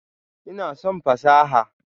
Ina son fasaha.